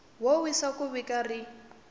wo wisa wa vhiki rin